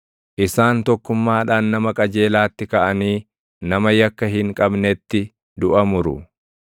Isaan tokkummaadhaan nama qajeelaatti kaʼanii nama yakka hin qabnetti duʼa muru.